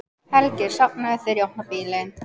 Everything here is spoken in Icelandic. Helgi er sofnaður þegar ég opna bílinn.